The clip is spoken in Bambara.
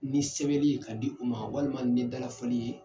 Ni sɛbɛli ye ka di u ma walima ni dalafɔli ye